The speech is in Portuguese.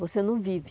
Você não vive.